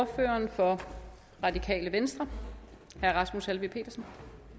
ordføreren for radikale venstre herre rasmus helveg petersen